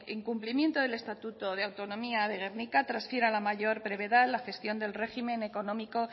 incumplimiento del estatuto de autonomía de gernika transfiera en la mayor brevedad la gestión del régimen económico